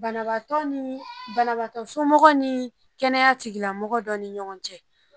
Banabagatɔ ni banabagatɔ somɔgɔ ni kɛnɛya tigilamɔgɔ dɔ ni ɲɔgɔn cɛ